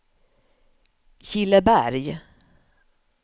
Killeberg